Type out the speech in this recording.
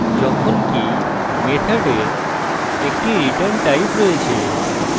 যখনকি মেথডের একটি return type রয়েছে